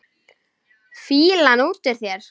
Fýlan út úr þér!